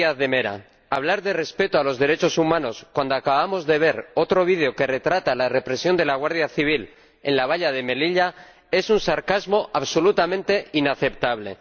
Señor Díaz de Mera, hablar de respeto a los derechos humanos cuando acabamos de ver otro vídeo que retrata la represión de la guardia civil en la valla de Melilla es un sarcasmo absolutamente inaceptable.